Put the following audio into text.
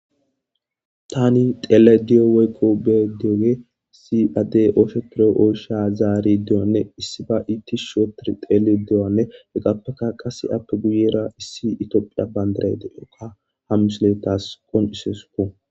tani teele diyo weykko be dioge si adde ooshe tiro7oosha zaari deoanne issi ba iitti shootir teele dewanne heggappeka qase appe guyera issi itoophiya bayndaray de7okka hamishilettas qon isesuku